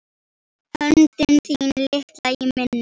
Höndin þín litla í minni.